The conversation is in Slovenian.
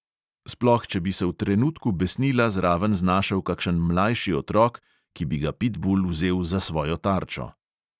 Sploh če bi se v trenutku besnila zraven znašel kakšen mlajši otrok, ki bi ga pitbul vzel za svojo tarčo.